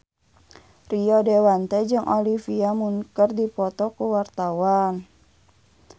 Rio Dewanto jeung Olivia Munn keur dipoto ku wartawan